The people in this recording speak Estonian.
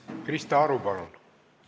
Krista Aru, palun!